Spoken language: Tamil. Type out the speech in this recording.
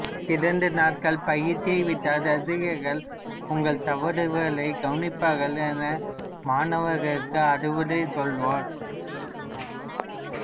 இரண்டு நாட்கள் பயிற்சியை விட்டால் இரசிகர்கள் உங்கள் தவறுகளைக் கவனிப்பார்கள் என மாணவர்களுக்கு அறிவுரை சொல்லுவார்